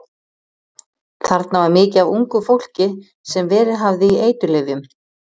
Þarna var mikið af ungu fólki sem verið hafði í eiturlyfjum.